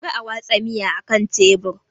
Kar a watsa miya akan tebur!